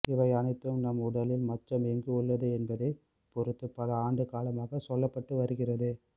இவை அனைத்தும் நம் உடலில் மச்சம் எங்கு உள்ளது என்பதை பொருத்து பல ஆண்டு காலமாக சொல்லப்பட்டு வருகிறது